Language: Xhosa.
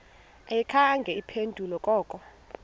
ayikhange iphendule koko